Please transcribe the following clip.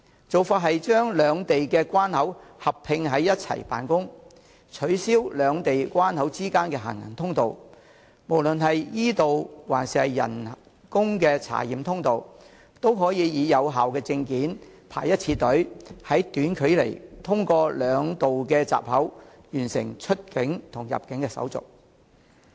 做法是將兩地的關口合併在一起辦公，取消兩地關口之間的行人通道，無論是 e- 道還是人手查驗通道，均只須排一次隊，憑有效的證件，在短距離通過兩道閘口，便完成出境和入境的手續。